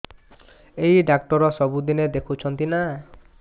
ଏଇ ଡ଼ାକ୍ତର ସବୁଦିନେ ଦେଖୁଛନ୍ତି ନା